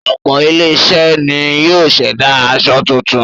Ọ̀pọ̀ àwọn ilé-iṣẹ́ ni yóò ṣẹ̀dá aṣọ tuntun.